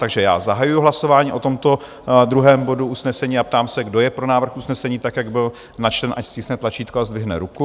Takže já zahajuji hlasování o tomto druhém bodu usnesení a ptám se, kdo je pro návrh usnesení, tak jak byl načten, ať stiskne tlačítko a zdvihne ruku.